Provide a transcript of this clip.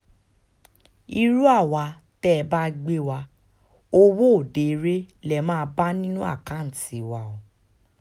irú àwa tẹ́ ẹ bá gbé wa owó òde eré lè máa bá nínú àkáǹtì wa o